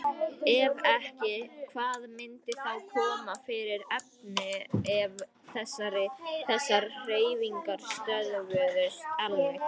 Ef ekki, hvað myndi þá koma fyrir efni ef þessar hreyfingar stöðvuðust alveg?